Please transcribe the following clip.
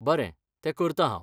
बरें, तें करतां हांव.